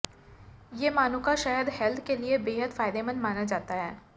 ये मानुका शहद हेल्थ के लिए बेहद फायदेमंद माना जाता है